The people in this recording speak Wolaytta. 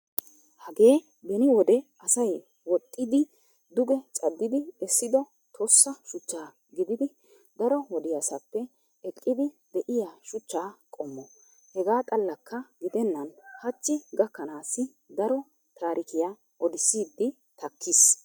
Hagee beni wode asay woxxiiddi duge caddidi essido tossa shuchcha gididi daro wodiyaasappa eqqidi de'iya shuchcha qommo. Hegaa xallakka gidennan hachchi gakkanaassi daro taarikiya odissiiddi takkiis.